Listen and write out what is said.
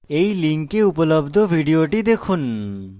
এই link উপলব্ধ video দেখুন